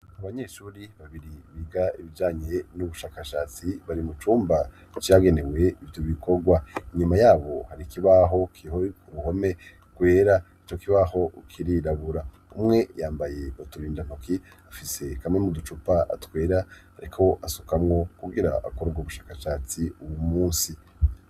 Abanyeshuri babiri biga ibijanye n'ubushakashatsi bari mucumba icyagenewe ivyo bikorwa inyuma yabo hari ikibaho kihoiku ruhome kwera ico kibaho ukiri rabura umwe yambaye baturindantoki afise kamwe mu ducupa atwera, ariko asukamwo kugira akorwa ubushakashatsi uwu musi.